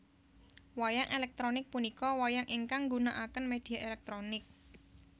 Wayang elektronik punika wayang ingkang nggunaaken media elektronik